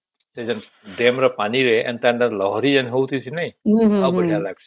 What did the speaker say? ସେ ଡ୍ୟାମ ର ପାଣି ରେ ଏନ୍ତା ଏନ୍ତା ଲହରୀ ଯୋଉଁ ହଉଚି ନାଇଁ ବହୁତ ବଢିଆ ଲାଗୁଚି